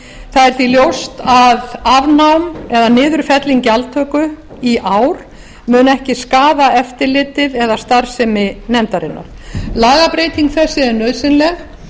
það er því ljóst að afnám eða niðurfelling gjaldtöku í ár muni ekki skaða eftirlitið eða starfsemi nefndarinnar lagabreyting þessi er nauðsynleg